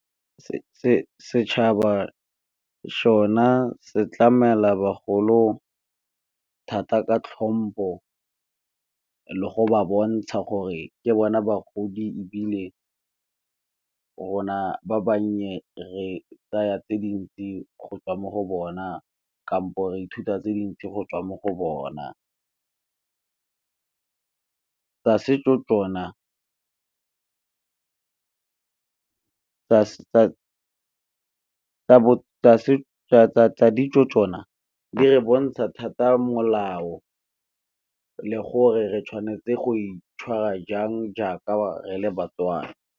Setšhaba sona se tlamela bagolo thata ka tlhompo le go ba bontsha gore ke bona bagodi, ebile rona ba bannye re tsaya tse dintsi go tswa mo go bona kampo re ithuta tse dintsi go tswa mo go bona. Tsa ditso tsona di re bontsha thata molao le gore re tshwanetse go itshwara jang jaaka re le baTswana.